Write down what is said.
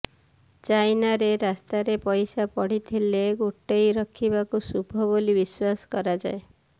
ଚାଇନାରେ ରାସ୍ତାରେ ପଇସା ପଡ଼ିଥିଲେ ଗୋଟାଇ ରଖିବାକୁ ଶୁଭ ବୋଲି ବିଶ୍ବାସ କରାଯାଏ